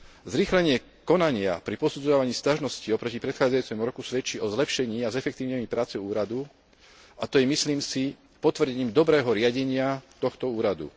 Zrýchlenie konania pri posudzovaní sťažností oproti predchádzajúcemu roku svedčí o zlepšení a zefektívnení práce úradu, a to je, myslím si, potvrdením dobrého riadenia tohto úradu.